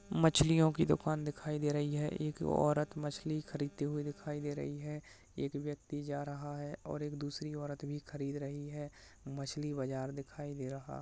मछली ओ की दुकान दिखया दे रही है एक ओरत मछली खरीदती हुई दिखया दे रही है एक व्यक्ति जा रहा है और एक दूसरी ओअरत भी खरीद रही है मछली बाजर दिखाय दे रहा --